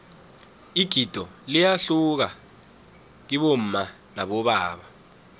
igido liyahluka kibomma nabobaba